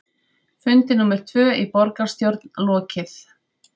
Fundi númer tvö í borgarstjórn lokið